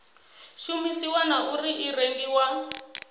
shumisiwa na uri i rengiwa